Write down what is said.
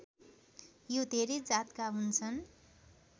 यो धेरै जातका हुन्छन्